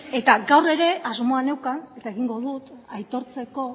eta gaur ere asmoa neukan eta egingo dut aitortzeko